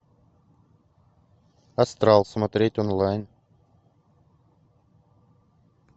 астрал смотреть онлайн